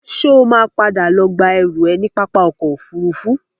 Ṣo ma padà lọ gba ẹrú ẹ ní pápá ọkọ̀ Òfurufú?